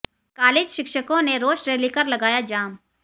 college शिक्षकों ने रोष रैली कर लगाया जाम